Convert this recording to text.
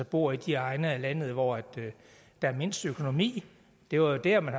bor i de egne af landet hvor der er mindst økonomi det var jo der man